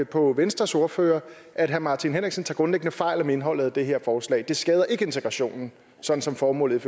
på venstres ordfører at herre martin henriksen tager grundlæggende fejl om indholdet af det her forslag det skader ikke integrationen sådan som formålet